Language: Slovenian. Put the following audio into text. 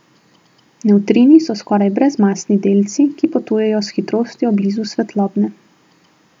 Nevtrini so skoraj brezmasni delci, ki potujejo s hitrostjo blizu svetlobne.